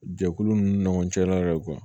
Jɛkulu ninnu ɲɔgɔn cɛla la yɛrɛ